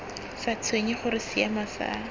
sa tshwenye gore seemo sa